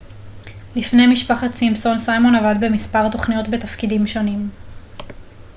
לפני משפחת סימפסון סיימון עבד במספר תכניות בתפקידים שונים